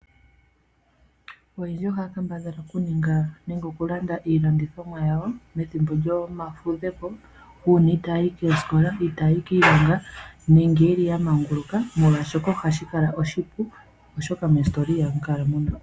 Oyendji ohaya kambadhala okuninga nenge okulanda iilandithomwa yawo methimbo lyomafudhepo, uuna itaayi koosikola , kiilonga nenge yeli yamanguluka molwaashoka ohashi kala oshipu.